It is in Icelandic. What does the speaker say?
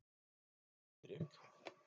Diðrik